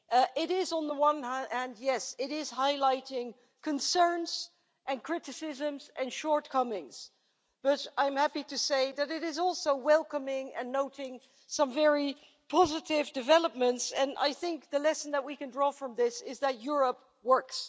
It is on the one hand highlighting concerns and criticisms and shortcomings, but I'm happy to say that it is also welcoming and noting some very positive developments, and I think the lesson that we can draw from this is that Europe works.